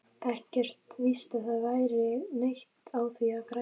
Ekkert víst að það væri neitt á því að græða.